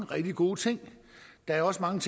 gode ting der er også mange